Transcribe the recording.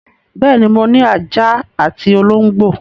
Bẹ́ẹ̀ ni, mo ní ajá àti olóńgbò.